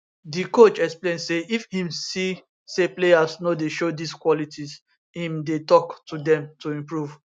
di coach explain say if im see say players no dey show dis qualities im dey tok to dem to improve